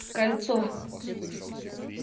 кольцо